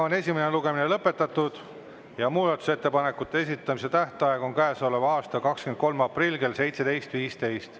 Esimene lugemine on lõpetatud ja muudatusettepanekute esitamise tähtaeg on käesoleva aasta 23. aprill kell 17.15.